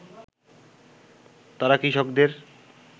তারা কৃষকদের